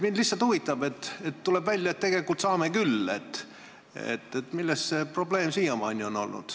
Mind lihtsalt huvitab, et kui tuleb välja, et tegelikult saame küll, siis milles see probleem siiamaani on olnud.